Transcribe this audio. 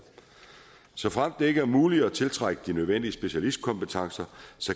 såfremt det ikke er muligt at tiltrække de nødvendige specialistkompetencer